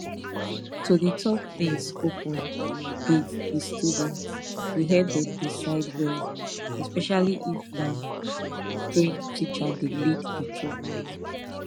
to dey talk things open with di students dey help dem decide well especially if na trained teacher dey lead di talk